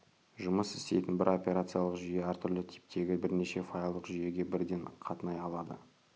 жұмыс істейтін бір операциялық жүйе әртүрлі типтегі бірнеше файлдық жүйеге бірден қатынай алады